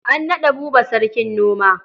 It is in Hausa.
A naɗa Buba sarkin noma.